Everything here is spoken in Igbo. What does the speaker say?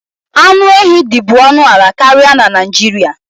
Anụ ehi dị bu ọnụ ala karịa na Naịjirịa.